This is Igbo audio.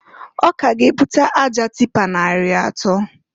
O ka ga ebuta aja tịpa nari atọọ.